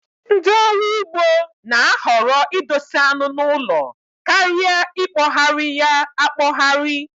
Ndị ọrụ ugbo na-ahọrọ idosa anu n'ụlọ karịa ikpohari ya akpohari